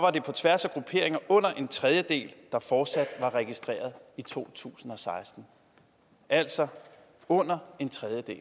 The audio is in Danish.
er det på tværs af grupperinger under en tredjedel der fortsat er registreret i to tusind og seksten altså under en tredjedel